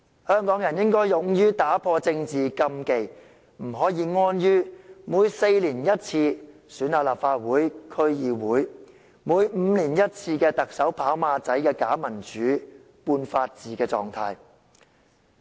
香港人應該勇於打破政治禁忌，不可以安於每4年一次的立法會和區議會選舉，以及每5年一次的特首選舉"跑馬仔"的假民主、半法治的狀態。